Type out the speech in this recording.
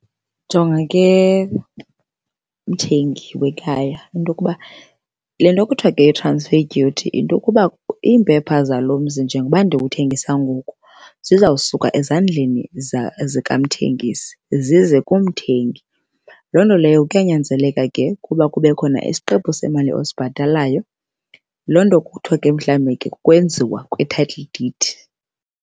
Jonga ke mthengi wekhaya into yokuba le nto kuthiwa ke yi-transfer duty yinto yokuba iimpepha zalo mzi njengokuba ndiwuthengisa ngoku zizawusuka ezandleni zikamthengisi zize kumthengi. Loo nto leyo kuyanyanzeleka ke ukuba kube khona isiqephu semali osibhatalayo. Loo nto kuthiwa mhlambi ke kukwenziwa kwe-title deed.